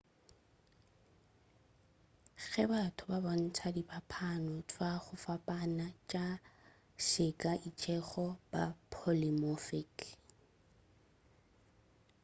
ge batho ba bontša diphapano tva go fapana tša seka se itšego ba polymorphic